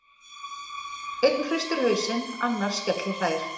Einn hristir hausinn, annar skellihlær.